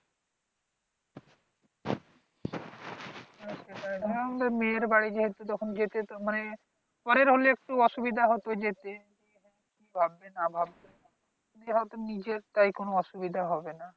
মেয়ের বাড়ি যেহেতু যখন গেছে মান্‌ পরের হলে একটু অসুবিধা হত যেত। কি ভাববে না ভাববে? যেহেতু নিজের তাই কোন অসুবিধা হবে না।